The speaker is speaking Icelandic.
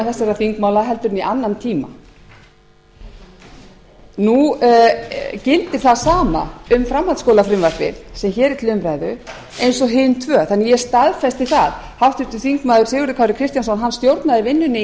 þessara þingmála en í annan tíma nú gildir það sama um framhaldsskólafrumvarpið sem hér er til umræðu og hin tvö þannig að ég staðfesti það háttvirtur þingmaður sigurður kári kristjánsson stjórnaði vinnunni í